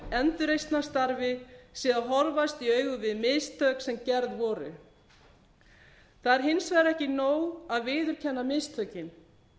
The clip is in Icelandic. endurreisnarstarfi sé að horfast í augu við mistök sem gerð voru það er hins vegar ekki nóg að viðurkenna mistökin